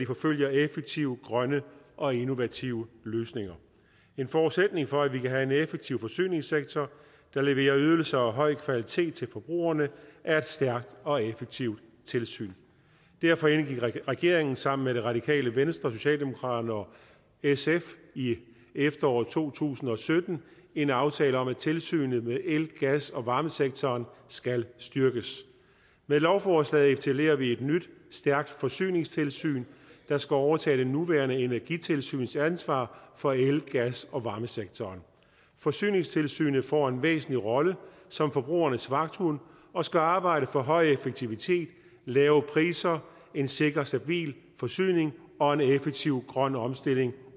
forfølger effektive grønne og innovative løsninger en forudsætning for at vi kan have en effektiv forsyningssektor der leverer ydelser af høj kvalitet til forbrugerne er et stærkt og effektivt tilsyn derfor indgik regeringen sammen med det radikale venstre socialdemokratiet og sf i efteråret to tusind og sytten en aftale om at tilsynet med el gas og varmesektoren skal styrkes med lovforslaget etablerer vi et nyt stærkt forsyningstilsyn der skal overtage det nuværende energitilsyns ansvar for el gas og varmesektoren forsyningstilsynet får en væsentlig rolle som forbrugernes vagthund og skal arbejde for høj effektivitet lave priser en sikker og stabil forsyning og en effektiv grøn omstilling